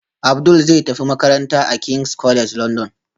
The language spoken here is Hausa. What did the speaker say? Abdul zai tafi makaranta a king's college london